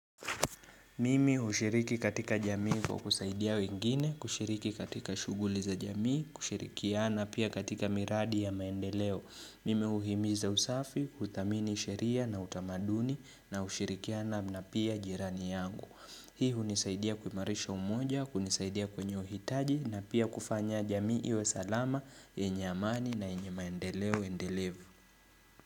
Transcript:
Mimi hushiriki katika jamii kwa kusaidia wengine, kushiriki katika shughuli za jamii, kushirikiana pia katika miradi ya maendeleo. Mimi uhimiza usafi, uthamini sheria na utamaduni na ushirikiana na pia jirani yangu. Hii hunisaidia kuimarisha umoja, kunisaidia kwenye uhitaji na pia kufanya jamii iwe salama, yenye amani na yenye maendeleo endelevu.